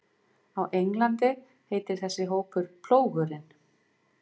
Á Englandi heitir þessi hópur Plógurinn.